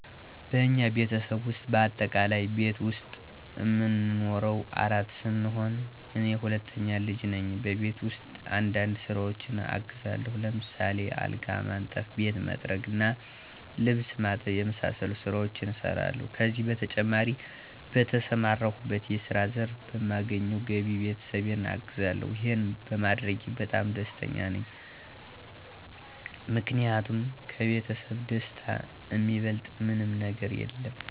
በእኛ ቤተሰብ ውስጥ በአጠቃላይ ቤት ዉስጥ እምንኖረው አራት ስንሆን እኔ ሁለተኛ ልጅ ነኝ። በቤት ውስጥ አንዳንድ ስራዎችን አግዛለሁ። ለምሳሌ አልጋ ማንጠፍ፣ ቤት መጥረግ እና ልብስ ማጠብ የመሳሰሉትን ስራዎች እሰራለሁ። ከዚህ በተጨማሪ በተሰማራሁበት የስራ ዘርፍ በማገኘው ገቢ ቤተሰቤን አግዛለሁ። ይሄንም በማድረጌ በጣም ደስተኛ ነኝ። ምክንያቱም ከቤተሰብ ደስታ እሚበልጥ ምንም ነገር የለም።